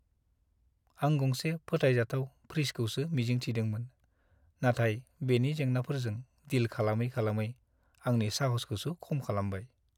आं गंसे फोथायजाथाव फ्रिजखौसो मिजिं थिदोंमोन, नाथाय बेनि जेंनाफोरजों डिल खालामै-खालामै आंनि साहसखौसो खम खालामबाय।